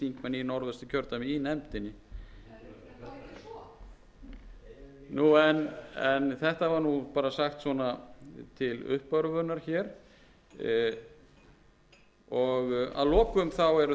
þingmenn úr norðvesturkjördæmi í nefndinni en þetta var nú bara sagt svona til uppörvunar hér að lokum eru það framlög til umhverfisráðuneytisins